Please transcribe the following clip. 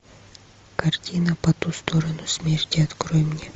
картина по ту сторону смерти открой мне